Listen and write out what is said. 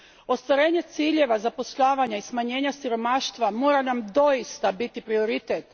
Ostvarenje ciljeva zapošljavanja i smanjenja siromaštva mora nam doista biti prioritet.